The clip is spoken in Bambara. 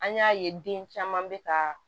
An y'a ye den caman bɛ ka